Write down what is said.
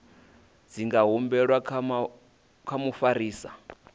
dzi nga humbelwa kha mufarisa